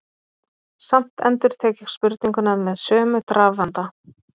Samt endurtek ég spurninguna með sömu drafandi.